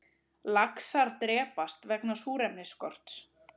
Laxar drepast vegna súrefnisskorts